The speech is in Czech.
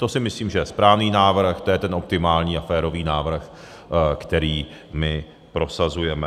To si myslím, že je správný návrh, to je ten optimální a férový návrh, který my prosazujeme.